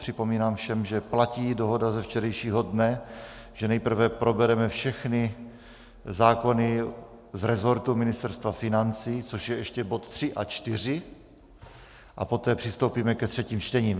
Připomínám všem, že platí dohoda ze včerejšího dne, že nejprve probereme všechny zákony z resortu Ministerstva financí, což je ještě bod 3 a 4, a poté přistoupíme ke třetím čtením.